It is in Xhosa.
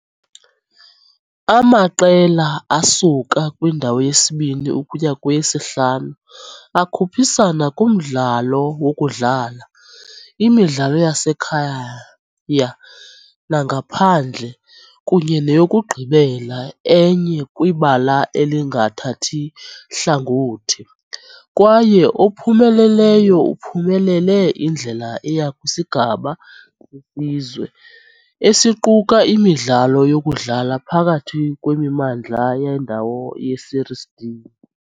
Amaqela asuka kwindawo yesibini ukuya kweyesihlanu akhuphisana kumdlalo wokudlala, imidlalo yasekhaya nangaphandle, kunye neyokugqibela enye kwibala elingathathi hlangothi, kwaye ophumeleleyo uphumelele indlela eya kwisigaba seSizwe, esiquka imidlalo yokudlala phakathi kwemimandla yendawo yeSerie D.